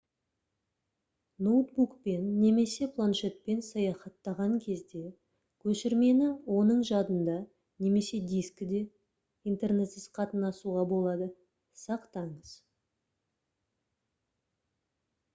ноутбукпен немесе планшетпен саяхаттаған кезде көшірмені оның жадында немесе дискіде интернетсіз қатынасуға болады сақтаңыз